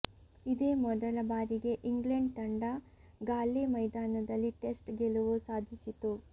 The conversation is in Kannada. ಇದೇ ಮೊದಲ ಬಾರಿಗೆ ಇಂಗ್ಲೆಂಡ್ ತಂಡ ಗಾಲ್ಲೆ ಮೈದಾನದಲ್ಲಿ ಟೆಸ್ಟ್ ಗೆಲುವು ಸಾಧಿಸಿತು